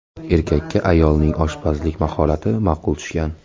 Erkakka ayolning oshpazlik mahorati ma’qul tushgan.